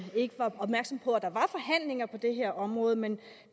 der ikke var opmærksomme på at der var forhandlinger på det her område men